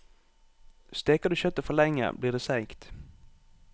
Steker du kjøttet for lenge, blir det seigt.